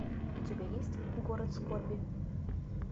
у тебя есть город скорби